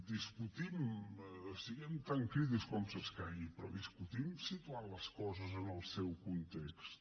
discutim siguem tan crítics com s’escaigui però discutim situant les coses en el seu context